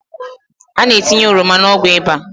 A na-etinye ọrọma n’ọgwụ ịba